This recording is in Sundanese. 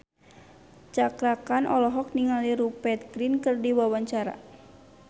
Cakra Khan olohok ningali Rupert Grin keur diwawancara